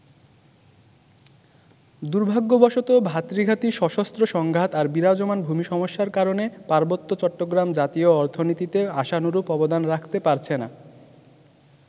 দুর্ভাগ্যবশত, ভাতৃঘাতী সশস্ত্র সংঘাত আর বিরাজমান ভূমি সমস্যার কারণে পার্বত্য চট্টগ্রাম জাতীয় অর্থনীতিতে আশানুরূপ অবদান রাখতে পারছে না।